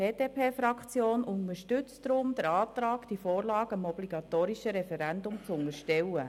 Die BDPFraktion unterstützt deshalb den Antrag, diese Vorlage dem obligatorischen Referendum zu unterstellen.